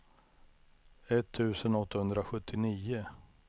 etttusen åttahundrasjuttionio